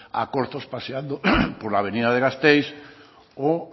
a corzos paseando por la avenida de gasteiz o